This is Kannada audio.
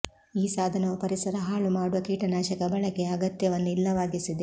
ಈ ಸಾಧನವು ಪರಿಸರ ಹಾಳು ಮಾಡುವ ಕೀಟನಾಶಕ ಬಳಕೆಯ ಅಗತ್ಯವನ್ನು ಇಲ್ಲವಾಗಿಸಿದೆ